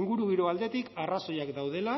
ingurugiro aldetik arrazoiak daudela